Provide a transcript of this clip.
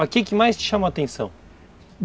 Mas o que mais te chamou a atenção?